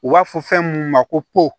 U b'a fɔ fɛn mun ma ko po